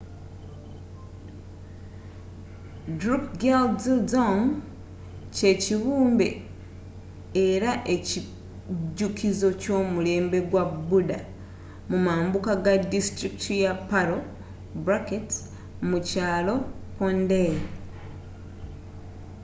drukgyaldzong kyekibumbe era ekijukizo ky’omulembe gwa buddha mumambuka ga distulikiti ya paro mu kyalo phondey